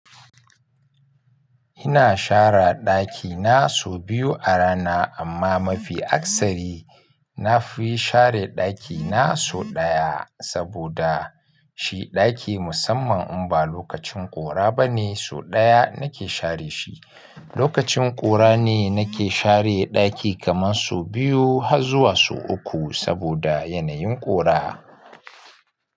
Ina share ɗakina sau biyu a rana, amma mafi akasari nafiyi share ɗakina sau ɗaya saboda shi ɗaki musamman in ba lokacin ƙura bane sau ɗaya nake share shi. Lokacin ƙura ne nake share ɗaki kaman so biyu har zuwa so uku saboda yanayin ƙura.